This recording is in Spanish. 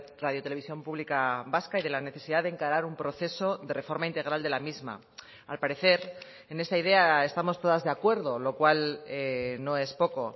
radiotelevisión pública vasca y de la necesidad de encarar un proceso de reforma integral de la misma al parecer en esta idea estamos todas de acuerdo lo cual no es poco